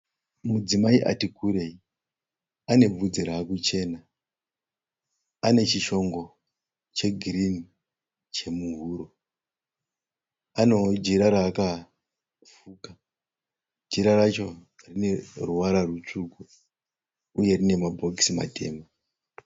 Mudzimai atikurei. Anebvudzi rakuchena. Anechishingo chegirini chemuhuro. Anewo jira raakafuka. Jira racho rineruvara rutsvuku uye rine mabhokisi matema.